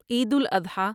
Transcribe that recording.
Eid al-Adha